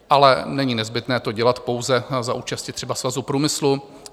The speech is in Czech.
Ale není nezbytné to dělat pouze za účasti třeba Svazu průmyslu.